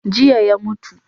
Jiya ya mutu.